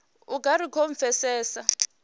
u nga ri khou pfesesa